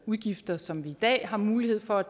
udgifter som vi i dag har mulighed for at